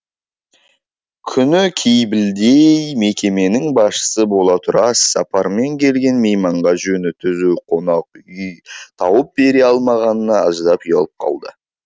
күнікей білдей мекеменің басшысы бола тұра іссапармен келген мейманға жөні түзу қонақ үй тауып бере алмағанына аздап ұялып қалды